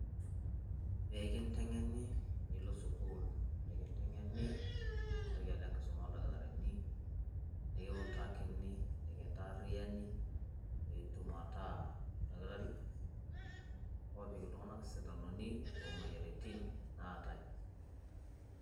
Pee kiteng'eni nilo sukuul nikiteng'eni, nintoki alo ekisuma oldakitarini nekiutakini nikantaariani piitum ataa oldakitari lopik iltung'anak sindanoni lo moyiaritin lootai.